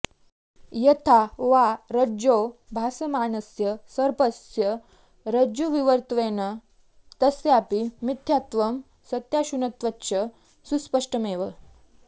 यथा वा रज्जौ भासमानस्य सर्पस्य रज्जुविवर्तत्वेन तस्यापि मिथ्यात्वं सत्ताशून्यत्वञ्च सुस्पष्टमेव